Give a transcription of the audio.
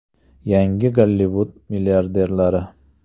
Yangi Gollivud milliarderlari.